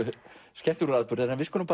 skemmtilegur atburður en við skulum